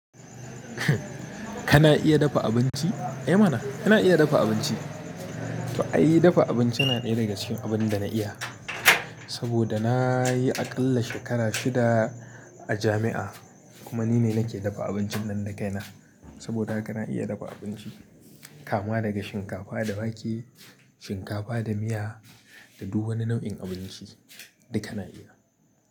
Kana iya dafa abinci? Eh mana, kana iya dafa abinci. To ai, dafa abinci yana ɗaya daga cikin abin da na iya. Saboda nayi aƙalla shekara shida a jami'a, kuma nine nake dafa abincin nan da kaina. Saboda haka na iya dafa abinci, kama daga shinkafa da wake, shinkafa da miya da duk wani nau'in abinci duka na iya.